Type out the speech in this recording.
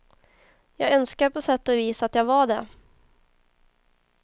Jag önskar på sätt och vis att jag var det.